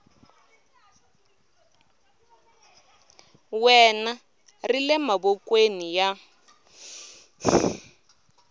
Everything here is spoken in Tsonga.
wena ri le mavokweni ya